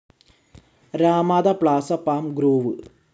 Ramada Plaza Palm groove